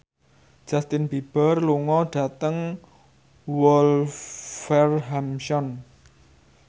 Justin Beiber lunga dhateng Wolverhampton